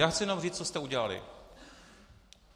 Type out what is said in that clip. Já chci jenom říct, co jste udělali.